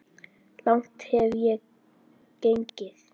Langt hef ég gengið.